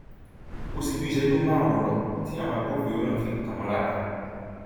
kò sì ju ìṣẹjú márùnún lọ tí àwọn agbófinró náà fi kàn wọn lára